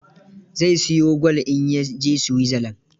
Zai siyo gwal in ya je Switzerland.